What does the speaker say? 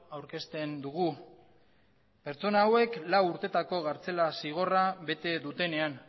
aurkezten dugu pertsona hauek lau urtetako kartzela zigorra bete dutenean